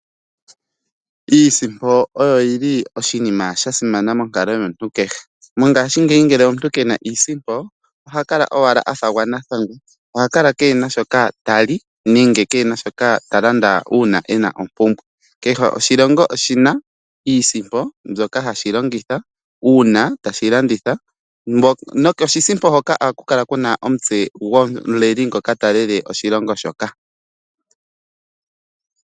Iisimpo oyo yili oshinima shasimana monkalo yomuntu kehe, mongaashingeyi ngele omuntu kena iisimpo oha kala owala a fa gwa nathangwa, oha kala keena shoka ta li nenge keena shoka ta landa uuna ena ompumbwe. Kehe oshilongo oshina iisimpo mbyoka hashi longitha uuna tashi landitha, nokoshisimpo hoka ohaku kala kuna omutse gomuleli ngoka talele oshilongo shoka.